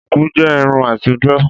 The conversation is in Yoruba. Shuku jẹ Irun àtijọ́.